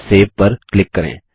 save पर click करें